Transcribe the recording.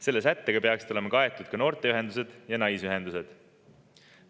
Selle sättega peaksid olema kaetud ka noorteühendused ja naisühendused.